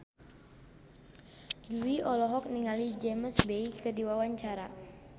Jui olohok ningali James Bay keur diwawancara